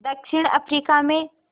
दक्षिण अफ्रीका में